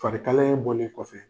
Fari kalaya in bɔlen kɔfɛ